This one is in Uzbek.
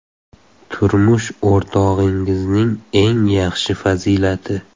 Turmush o‘rtog‘ingizning eng yaxshi fazilati?